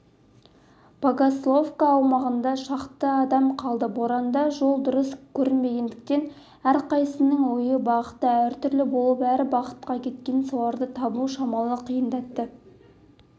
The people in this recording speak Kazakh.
богословка аумағында шақты адам қалды боранда жол дұрыс көрінбегендіктен әрқайсысының ойы бағыты әртүрлі болып әр бағытқа кеткен соларды табу шамалы қиындатты